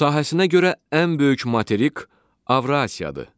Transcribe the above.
Sahəsinə görə ən böyük materik Avrasiyadır.